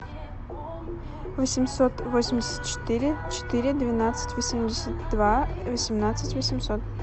восемьсот восемьдесят четыре четыре двенадцать восемьдесят два восемнадцать восемьсот